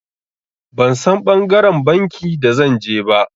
Ban San ɓangaren banki da zan je ba.